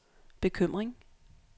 bekymring